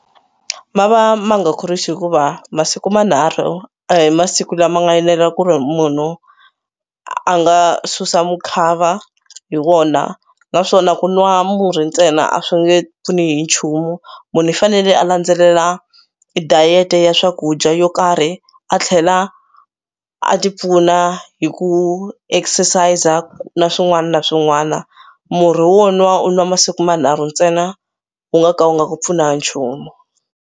Ma va ma nga khorwisi hikuva masiku manharhu a hi masiku lama nga enela ku ri munhu a nga susa mukhava hi wona naswona ku nwa murhi ntsena a swi nge pfuni hi nchumu. Munhu i fanele a landzelela i diet-e ya swakudya yo karhi a tlhela a tipfuna hi ku exercis-a na swin'wana na swin'wana. Murhi wo nwa u nwa masiku manharhu ntsena u nga ka u nga ku pfuni ha nchumu.